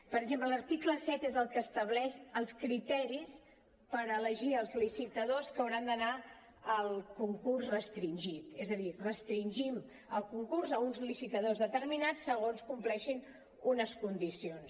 per exemple l’article set és el que estableix els criteris per elegir els licitadors que hauran d’anar al concurs restringit és a dir restringim el concurs a uns licitadors determinats segons compleixin unes condicions